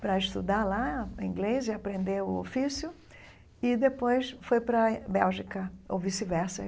para estudar lá inglês e aprender o ofício, e depois foi para a Bélgica, ou vice-versa.